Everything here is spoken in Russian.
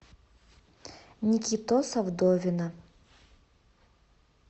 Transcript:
никитоса вдовина